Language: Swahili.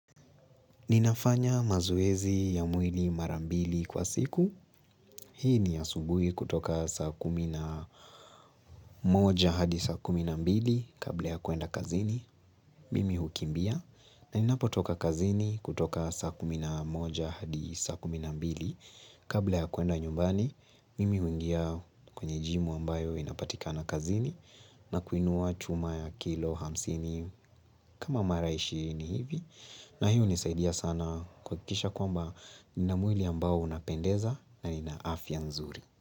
Ninafanya mazoezi ya mwili mara mbili kwa siku. Hii ni asubuhi kutoka saa kumi na moja hadi saa kumi na mbili kabla ya kuenda kazini. Mimi hukimbia na ninapotoka kazini kutoka saa kumi na moja hadi saa kumi na mbili kabla ya kuenda nyumbani. Mimi huingia kwenye jimu ambayo inapatikana kazini na kuinua chuma ya kilo hamsini kama maraishi ni hivi. Na hiyo hunisaidia sana kuhakikisha kwamba nina mwili ambao unapendeza na nina afya nzuri.